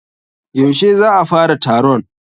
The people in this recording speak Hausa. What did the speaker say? Yaushe za a fara taron?